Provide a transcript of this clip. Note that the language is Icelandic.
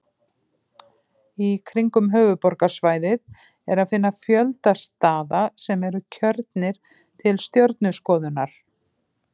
Í kringum höfuðborgarsvæðið er að finna fjölda staða sem eru kjörnir til stjörnuskoðunar.